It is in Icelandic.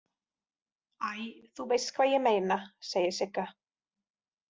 Æ, þú veist hvað ég meina, segir Sigga.